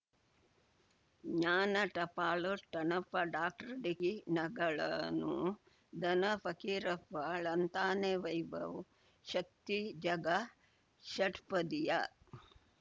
ಜ್ಞಾನ ಟಪಾಲು ಠೊಣಪ ಡಾಕ್ಟರ್ ಢಿಕ್ಕಿ ಣಗಳನು ಧನ ಫಕೀರಪ್ಪ ಳಂತಾನೆ ವೈಭವ್ ಶಕ್ತಿ ಝಗಾ ಷಟ್ಪದಿಯ